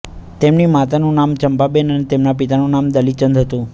તેમની માતાનું નામ ચંપાબેન અને તેમના પિતાનું નામ દલીચંદ હતું